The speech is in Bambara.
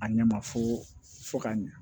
A ɲɛ ma fo fo ka ɲɛ